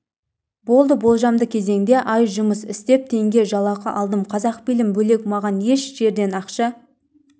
болды болжамды кезеңде ай жұмыс істеп теңге жалақы алдым қазақфильм бөлек маған еш жерден ақша